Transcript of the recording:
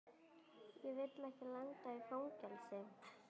Ég vil ekki lenda í fangelsi.